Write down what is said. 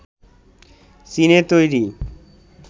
চীনে তৈরি